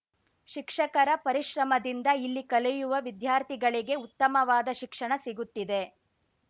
ಶಿಕ್ಷಕರ ಪರಿಶ್ರಮದಿಂದ ಇಲ್ಲಿ ಕಲಿಯುವ ವಿದ್ಯಾರ್ಥಿಗಳಿಗೆ ಉತ್ತಮವಾದ ಶಿಕ್ಷಣ ಸಿಗುತ್ತಿದೆ